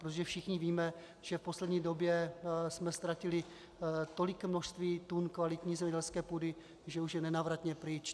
Protože všichni víme, že v poslední době jsme ztratili tolik množství tun kvalitní zemědělské půdy, že už je nenávratně pryč.